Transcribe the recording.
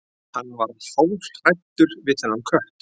Hann varð hálfhræddur við þennan kött.